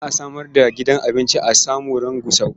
Za a samar da gidan abinci a Samarun Gusau.